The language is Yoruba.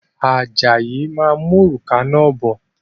Ajayi máa mú òrùka náà bọ̀